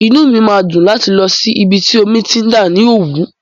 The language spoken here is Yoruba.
Inú mi máa dùn láti lọ sí ibi tí omi ti ń dà ní Òwú.